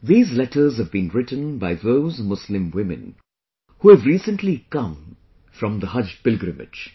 These letters have been written by those Muslim women who have recently come from Haj pilgrimage